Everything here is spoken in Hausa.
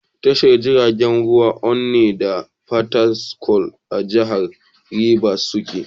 Tashar jiragen ruwan Onne da Fatakwal a jihar Ribas suke.